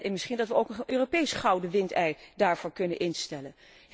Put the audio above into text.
Misschien dat we ook een Europees gouden windei daarvoor kunnen instellen.